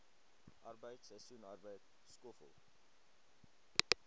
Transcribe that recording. arbeid seisoensarbeid skoffel